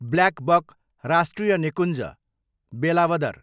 blackbuck राष्ट्रिय निकुञ्ज, वेलावदर